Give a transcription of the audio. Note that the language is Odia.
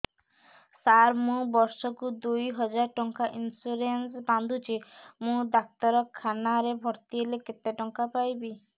ସାର ମୁ ବର୍ଷ କୁ ଦୁଇ ହଜାର ଟଙ୍କା ଇନ୍ସୁରେନ୍ସ ବାନ୍ଧୁଛି ମୁ ଡାକ୍ତରଖାନା ରେ ଭର୍ତ୍ତିହେଲେ କେତେଟଙ୍କା ପାଇବି